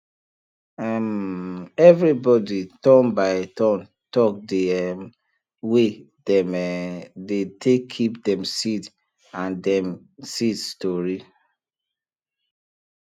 um everybody turn by turn talk de um way dem um dey take keep dem seed and dem seed stori